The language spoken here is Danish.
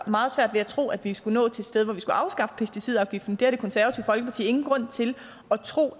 meget svært ved at tro at vi skulle nå til et sted hvor vi skulle afskaffe pesticidafgiften det har det konservative folkeparti ingen grund til at tro